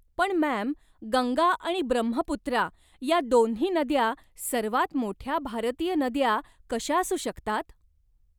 पण मॅम, गंगा आणि ब्रह्मपुत्रा या दोन्ही नद्या सर्वात मोठ्या भारतीय नद्या कशा असू शकतात?